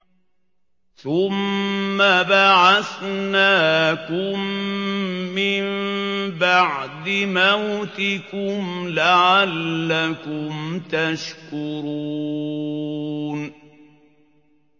ثُمَّ بَعَثْنَاكُم مِّن بَعْدِ مَوْتِكُمْ لَعَلَّكُمْ تَشْكُرُونَ